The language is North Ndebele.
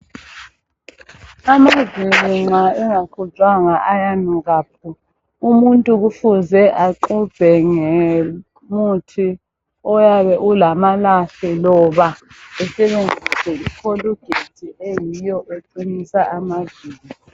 Amazinyo nxa engaxutshwanga ayanuka phu. Umuntu kufuze axubhe ngemuthi oyabe ulamalahle loba esebenzise ikholugethi eyiyo eqinisa amazinyo.